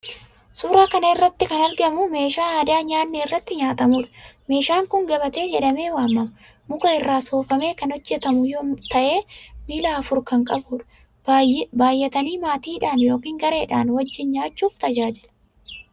Suuraa kana irratti kan argamu meeshaa aadaa nyaatni irratti nyaatamuudha. Meeshaan kun gabatee jedhamee waamama. Muka irraa soofamee kan hojjetamu ta'ee miila afur kan qabuudha. Baay'atanii maatiidhaan yookiin gareedhaan wajjin nyaachuuf tajaajila.